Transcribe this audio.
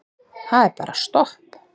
Það er bara stopp.